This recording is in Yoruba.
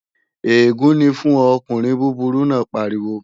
Ègún ni fún ọ, ọkùnrin búburú náà pariwo!